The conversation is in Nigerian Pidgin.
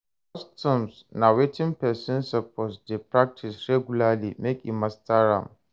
customs na wetin persin suppose de practice regulary make e master am